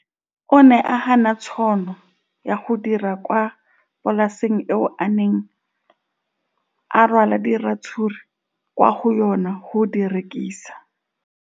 O ne a gana tšhono ya go dira kwa polaseng eo a neng rwala diratsuru kwa go yona go di rekisa.